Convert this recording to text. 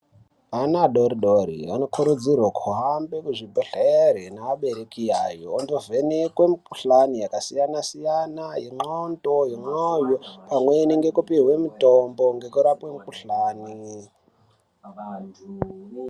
Ana adori-dori anokurudzirwa kuhamba kuenda kuzvibhedhlere neabereki yayo, ondovhenekwe mikuhlani yakasiyana yendxondo, yemwoyo pamweni ngekupihwe mutombo ngekurape mikuhlani.